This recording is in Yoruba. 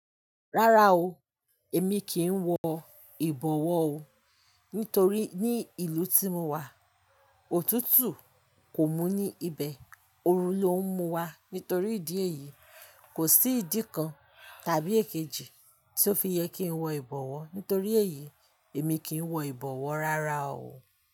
Rárá o, èmi kì í wọ ìbọ̀wọ́ o. Nítorí ní ìlú tí mo wà, òtútù kò mú ní ibẹ̀, òru ló ń mú wa. Nítorí ìdí èyí, kò sí ìdí kan tàbí èkejì tí ó fi yẹ kí n wọ ìbọ̀wọ́. Nítorí èyí, èmi kì í wọ ìbọ̀wọ́ rárá o.